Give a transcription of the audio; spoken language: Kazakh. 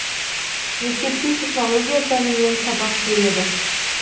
мектепте технология пәнінен сабақ береді